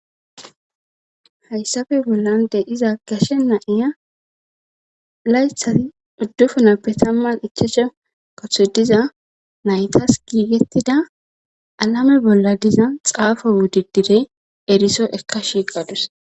hayssafe bollan de iza gashe naiya laythati uddufunappe tamman ichashe kathoy diza naytas giigettida alame bolla diza xaafo wudi direy eriso ekka shiiqadus